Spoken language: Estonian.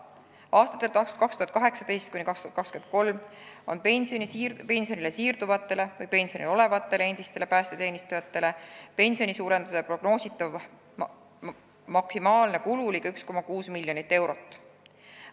Aastatel 2018–2023 on prognoositav kulu, mis on seotud pensionile siirduvatele või pensionil olevatele endistele päästeteenistujatele suurema pensioni maksmisega, maksimaalselt ligi 1,6 miljonit eurot.